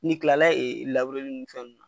Ni kilala ee ni fɛnw